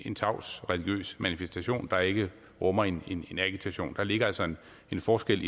en tavs religiøs manifestation der ikke rummer en agitation der ligger altså en forskel